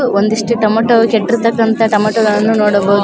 ಒಂದಿಷ್ಟು ಟೊಮ್ಯಾಟೋ ಕೆಟ್ಟಿರ್ತಕ್ಕಂತ ಟೊಮೆಟೋ ಗಳನ್ನು ನೋಡಬಹುದು.